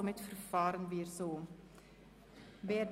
Somit gehen wir so vor.